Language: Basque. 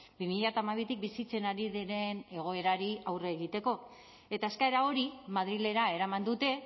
bi mila hamabitik bizitzen ari diren egoerari aurre egiteko eta eskaera hori madrilera eraman dute